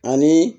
Ani